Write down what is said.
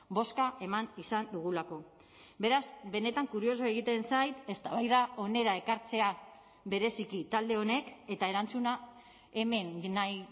bozka eman izan dugulako beraz benetan kuriosoa egiten zait eztabaida hona ekartzea bereziki talde honek eta erantzuna hemen nahi